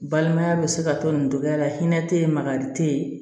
Balimaya bɛ se ka to nin dɔgɔya la hinɛ tɛ yen makari tɛ yen